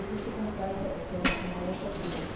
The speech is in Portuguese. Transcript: Deixa eu contar, essa é essa é uma outra coisa.